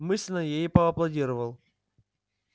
мысленно я ей поаплодировал